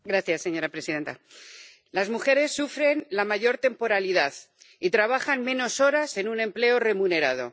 Señora presidenta, las mujeres sufren la mayor temporalidad y trabajan menos horas en un empleo remunerado.